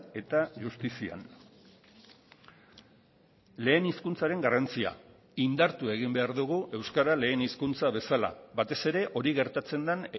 eta justizian lehen hizkuntzaren garrantzia indartu egin behar dugu euskara lehen hizkuntza bezala batez ere hori gertatzen den